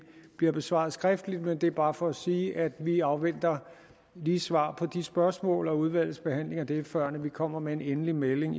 bliver besvaret skriftligt men det er bare for at sige at vi lige afventer svar på de spørgsmål og udvalgets behandling af det før vi kommer med en endelig melding